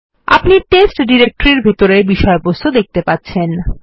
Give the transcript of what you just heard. আপনি টেস্ট ডিরেক্টরির বিষয়বস্তু দেখতে পাচ্ছেন